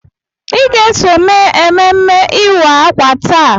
Ị ga-eso mee ememme ịwa ákwà taa!